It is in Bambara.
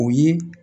O ye